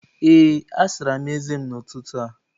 Ee, asara m eze m n'ụtụtụ a